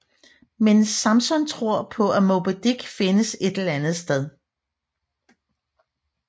Men Samson tror på at Moby Dick findes et eller andet sted